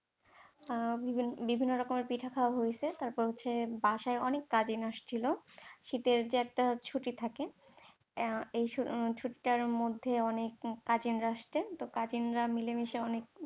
আহ বিভিন্ন রকমের পিঠে খাওয়া হয়েছে, তারপর হচ্ছে বাসায় অনেক cousin আসছিলো শীতের যে একটা ছুটি থাকে আহ এই ছুটিটার মধ্যে অনেক cousin রা আসতেন, তো cousin রা মিলেমিশে অনেক